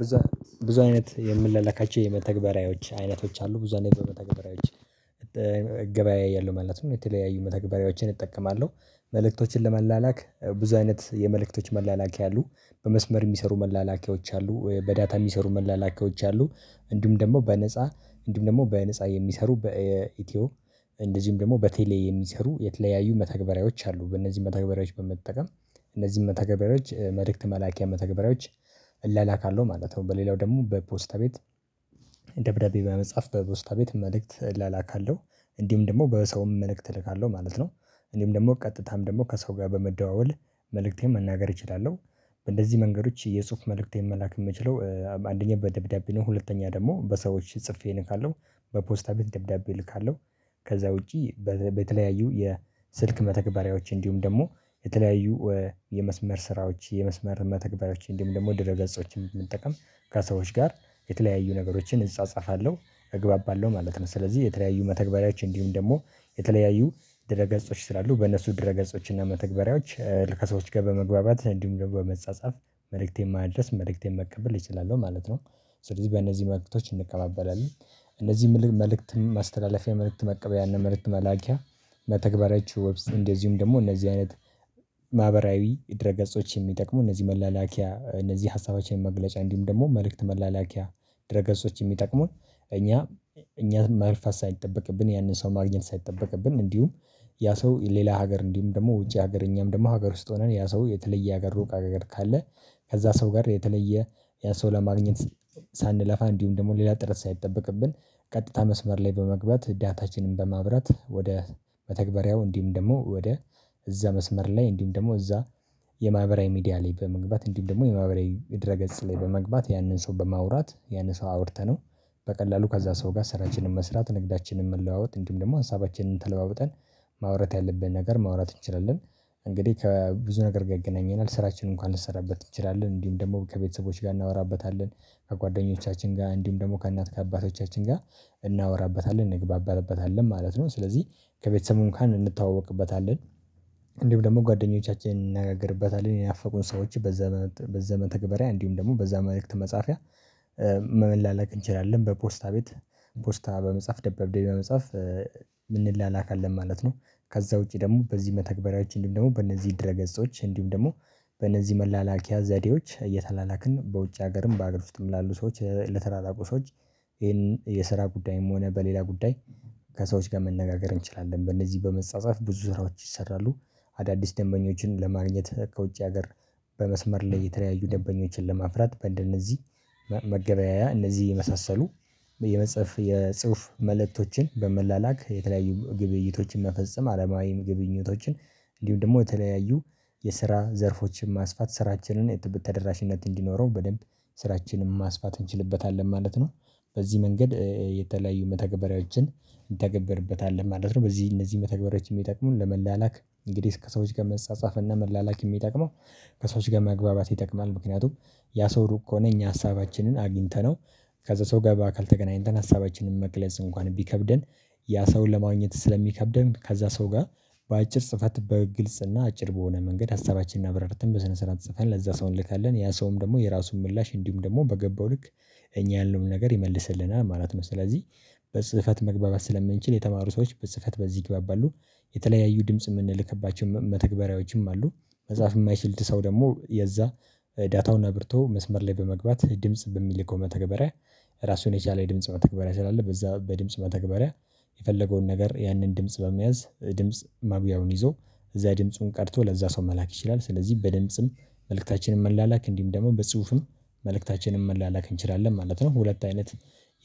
ብዙ ብዙ አይነት የምንላለካቸው የመተግበሪያዎች አይነቶች አሉ ብዙ አይነት የመተግበሪያዎች እገባያያለሁ ማለት ነው። የተለያዩ መተግበሪያዎችን እጠቀማለሁ መልእክቶችን ለመላላክ ብዙ አይነት የመልእክቶች መላላኪያ አሉ በመስመር የሚሰሩ መላላኪያዎች አሉ በዳታ የሚሰሩ መላላኪያዎች አሉ። እንዲሁም ደግሞ በነፃ እንዲሁም ደግሞ በነፃ የሚሰሩ በኢትዮ እንደዚህም ደግሞ በቴሌ የሚሰሩ የተለያዩ መተግበሪያዎች አሉ። በእነዚህ መተግበሪያዎች በመጠቀም እነዚህ መተግበሪያዎች መልእክት መላኪያ መተግበሪያዎች እለላካለሁ ማለት ነው። በሌላው ደግሞ በፖስታ ቤት ደብዳቤ በመጽሐፍ በፖስታ ቤት መልእክት እላላካለሁ እንድሁም ደግሞ በሰውም መልእክት እልካለሁ ማለት ነው። እኔም ደግሞ ቀጥታም ደግሞ ከሰው ጋር በመደዋወል መልእክቴን መናገር እችላለሁ። በእንደዚህ መንገዶች የጥሁፍ መልእክቴን መላክ የምችለው አንደኛ በደብዳቤ ነው። ሁለተኛ ደግሞ በሰዎች ጽፌ እልካለው በፖስታ ቤት ደብዳቤ እልካለሁ። ከዛ ውጪ በተለያዩ የስልክ መተግበሪያዎች እንድሁም ደግሞ የተለያዩ የመስመር ስራዎች የመስመር መተግበያዎች እንዲሁም ደግሞ ድረ ገጾችን በመጠቀም ከሰዎች ጋር የተለያዩ ነገሮችን እጻጻፋለሁ እግባባለሁ ማለት ነው። ስለዚህ የተለያዩ መተግበሪያዎች እንዲሁም ደግሞ የተለያዩ ድረ ገጾች ስላሉ በእነሱ ድረ ገጾች እና መተግበሪያዎች ከሰዎች ጋር በመግባባት እንዲሁም ደግሞ በመጻጻፍ መልእክቴን የማድረስ መልእክቴን መቀበል እችላለሁ ማለት ነው። ስለዚህ በእነዚህ መልእክቶች እንቀባበላለን። እነዚህ መልእክት ማስተላለፊያ መልእክት መቀበያ እና መልእክት መላኪያ መተግበሪዎች ወብስ እንደዚሁም ደግሞ እነዚህ አይነት። ማህበራዊ የድረ ገጾች የሚጠቅሙ እነዚህ መላላኪያ እነዚህ ሀሳባችንን መግለጫ እንዲሁም ደግሞ መልእክት መላላኪያ ድረ ገጾች የሚጠቅሙን። እኛ እኛን ማልፋት ሳይጠበቅብን ያንን ሰው ማግኘት ሳይጠበቅብን እንዲሁም ያ ሰው ሌላ ሀገር እንዲሁም ደግሞ ውጪ ሀገር እኛም ደግሞ ሀገር ውስጥ ሆነን ያ ሰው የተለየ ሀገር ሩቅ አገር ካለ። ከዛ ሰው ጋር የተለየ ያ ሰው ለማግኘት ሳንለፋ እንዲሁም ደግሞ ሌላ ጥረት ሳይጠበቅብን ቀጥታ መስመር ላይ በመግባት ዳታችንን በማብራት ወደ መተግበሪያው እንዲሁም ደግሞ ወደ እዛ መስመር ላይ እንዲሁም ደግሞ እዛ የማህበራዊ ሚዲያ ላይ በመግባት እንዲህ ደግሞ የማህበራዊ ድረ ገጽ ላይ በመግባት ያንን ሰው በማውራት ያንን ሰው አውርተነው። በቀላሉ ከዛ ሰው ጋር ስራችንን መስራት ንግዳችንን መለዋወጥ እንዲሁም ደግሞ ሀሳባችንን ተለዋውጠን ማውራት ያለብን ነገር ማውራት እንችላለን። እንግዲህ ከብዙ ነገር ጋር ይገናኘናል ስራችንን እንኳን ልሰራበት እንችላለን እንዲሁም ደግሞ ከቤተሰቦች ጋር እናወራበታለን። ከጓደኞቻችን ጋር እንዲሁም ደግሞ ከእናት ከአባቶቻችን ጋር እናወራበታለን እንግባባበታለን ማለት ነው። ስለዚህ ከቤተሰብ እንኳን እንተዋወቅበታለን። እንዲሁም ደግሞ ጓደኞቻችንን እንነጋገርበታለን ያናፈቁን ሰዎች። በዘ መተተግባሪያ እንዲሁም ደግሞ በዛ መልእክት መጻፊያ መለላለክ እንችላለን። በፖስታ ቤት ፖስታ በመጻፍ ደብዳቤ በመጻፍ የምንላለካለን ማለት ነው። ከዛ ውጪ ደግሞ በዚህ መተግበሪያዎች እንዲሁም ደግሞ በእነዚህ ድረ ገጾች እንዲሁም ደግሞ በእነዚህ መላላኪያ ዘዴዎች እየተላላክን በውጭ ሀገርም በአገር ውስጥም ላሉ ሰዎች ለተራራቁ ሰዎች። ይሄንን የስራ ጉዳይም ሆነ በሌላ ጉዳይ ከሰዎች ጋር መነጋገር እንችላለን በእነዚህ በመጻጸፍ ብዙ ስራዎች ይሰራሉ። አዳዲስ ደንበኞችን ለማግኘት ከውጭ ሀገር በመስመር ላይ የተለያዩ ደበኞችን ለማፍራት በእንደነዚህ መገበያያ እነዚህ የመሳሰሉ የመጽሐፍ የጽሁፍ መልእክቶችን በመላላክ የተለያዩ ግብይቶችን መፈጸም አለማዊም ግብኝቶችን። እንዲሁም ደግሞ የተለያዩ የስራ ዘርፎችን ማስፋት ስራችንን የት ተደራሽነት እንዲኖረው በደንብ ስራችንን ማስፋት እንችልበታለን ማለት ነው። በዚህ መንገድ የተለያዩ መተገበሪያዎችን እንተገብርበታለን ማለት ነው። በዚህ እነዚህ መተግበሪያዎች የሚጠቅሙን ለመላላክ እንግዲህ ከሰዎች ጋር መንጻጻፍ እና መላላክ የሚጠቅመው ከሰዎች ጋር መግባባት ይጠቅማል። ምክንያቱም ያ ሰው ሩቅ ከሆነ እኛ ሀሳባችንን አግኝተነው ከዛ ሰው ጋር በአካል ተገናኝተን ሀሳባችንን መግለጽ እንኳን ቢከብደን። ያ ሰውን ለማግኘት ስለሚከብደን ከዛ ሰው ጋር በአጭር ጽፈት በግልጽ እና አጭር በሆነ መንገድ ሀሳባችንን አብረርተን በስነ ስርዓት ጽፈን ለዛ ሰው እንልካለን ያ ሰውም ደግሞ የራሱን ምላሽ እንዲሁም ደግሞ በገባው ልክ። እኛ ያለውን ነገር ይመልስልናል ማለት ነው። ስለዚህ በጽህፈት መግባባት ስለምንችል የተማሩ ሰዎች በጽህፈት በዚህ ይግባባሉ። የተለያዩ ድምጽ የምንልክባቸው መተግበሪያዎችም አሉ። መጽሐፍ የማይችል ሰው ደግሞ የዛ ዳታውን አብርቶ መስመር ላይ በመግባት ድምጽ በሚልከው መተገበሪያ ራሱን የቻለ የድምጽ መተግበሪያ ስላለ በዛ በድምጽ መተግበሪያ የፈለገውን ነገር ያንን ድምጽ በመያዝ ድምጽ ማጉያውን ይዞ እዛ ድምጹን ቀርቶ ለዛ ሰው መላክ ይችላል። ስለዚህ በድምጽም መልእክታችንን መላላክ እንዲሁም ደግሞ በጽሁፍም መልእክታችንን መላላክ እንችላለን ማለት ነው። ሁለት አይነት